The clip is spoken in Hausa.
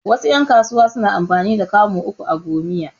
Wasu ƴan kasuwa suna amfani da kamu uku a gomiya